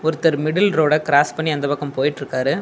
ஒருத்தர் மிடில் ரோட கிராஸ் பண்ணி அந்த பக்கம் போயிட்ருக்காரு.